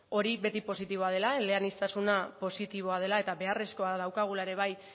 hori beti positiboa dela eleaniztasuna positiboa dela eta beharrezkoa daukagula ere bai